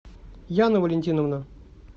яна валентиновна